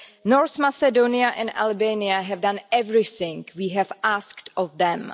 North Macedonia and Albania have done everything we have asked of them.